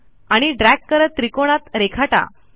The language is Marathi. आणि ड्रॅग करत त्रिकोणात रेखाटा